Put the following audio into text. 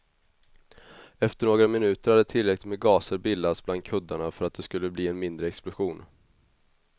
Efter några minuter hade tillräckligt med gaser bildats bland kuddarna för att det skulle bli en mindre explosion.